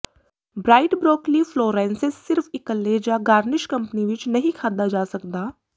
bright broccoli florescence ਸਿਰਫ ਇਕੱਲੇ ਜਾਂ ਗਾਰਨਿਸ਼ ਕੰਪਨੀ ਵਿਚ ਨਹੀਂ ਖਾਧਾ ਜਾ ਸਕਦਾ